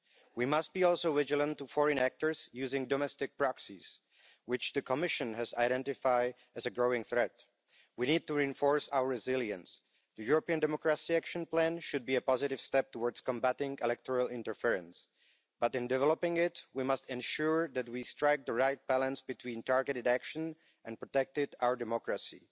We must be also vigilant with regard to foreign actors using domestic proxies, which the Commission has identified as a growing threat. We need to reinforce our resilience. The European democracy action plan should be a positive step towards combating electoral interference, but in developing it we must ensure that we strike the right balance between targeted action and protecting our democracy.